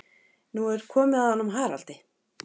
Nú er komið að honum Haraldi.